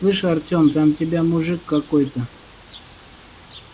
слышь артем там тебя мужик какой-то